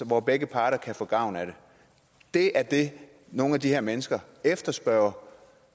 hvor begge parter kan få gavn af det det er det nogle af de her mennesker efterspørger